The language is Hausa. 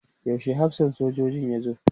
yaushe hafsan sojojin ya zo?